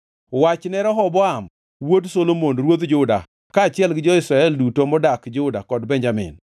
“Wachne Rehoboam wuod Solomon ruodh Juda kaachiel gi jo-Israel duto modak Juda kod Benjamin,